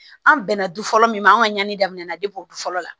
An bɛnna du fɔlɔ min ma an ka ɲani daminɛna du fɔlɔ la